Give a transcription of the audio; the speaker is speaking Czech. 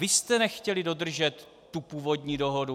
Vy jste nechtěli dodržet tu původní dohodu!